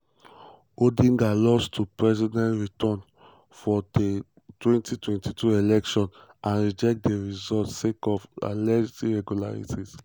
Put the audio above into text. odinga lost to president ruto for di 2022 election and e reject di results sake of alleged irregularities.